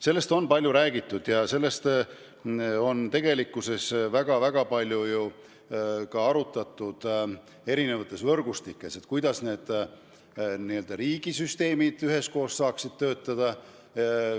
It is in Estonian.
Sellest on palju räägitud ja ka erinevates võrgustikes on väga palju arutatud, kuidas asjaomased riigi süsteemid saaksid üheskoos töötada.